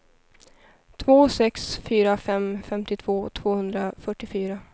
två sex fyra fem femtiotvå tvåhundrafyrtiofyra